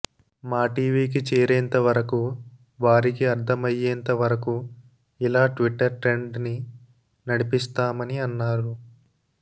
మాటీవీ కి చేరేంతవరకు వారికి అర్థమయ్యేంతవరకు ఇలా ట్విట్టర్ ట్రెండ్ ని నడిపిస్తామని అన్నారు